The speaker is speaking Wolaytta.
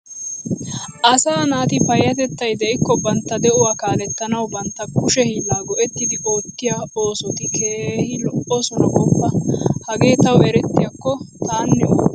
Asaa naati payyatettay de'ikko bantta de'uwa kaalettanawu bantta kushe hiillaa go'ettidi oottiyo oosoti keehi lo'oosona gooppa! Hagee tawu erttiyakko taanne oottana.